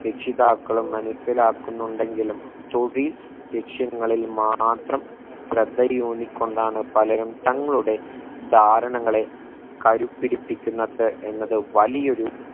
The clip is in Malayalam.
രക്ഷിതാക്കളും മനസിലാക്കുന്നുണ്ടെങ്കിലും തൊഴിൽ ലക്ഷ്യങ്ങളിൽ മാത്രം ശ്രദ്ധയൂന്നിക്കൊണ്ടാണ് പലരും തങ്ങളുടെ ധാരണങ്ങളെ കരുപിടിപ്പിക്കുന്നത് എന്നത് വലിയൊരു